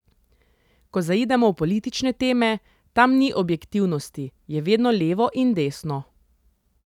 Ko zaidemo v politične teme, tam ni objektivnosti, je vedno levo in desno.